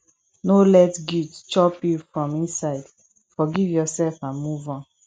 no let guilt chop you from inside forgive yourself and move on